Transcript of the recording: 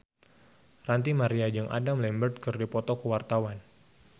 Ranty Maria jeung Adam Lambert keur dipoto ku wartawan